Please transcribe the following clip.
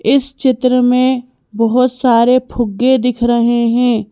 इस चित्र में बहुत सारे फुग्गे दिख रहे हैं।